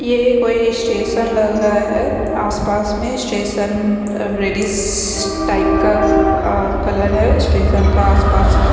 ये कोई स्टेशन लग रहा है आसपास में स्टेशन रेडिश कलर टाइप का कलर है स्टेशन का आसपास में--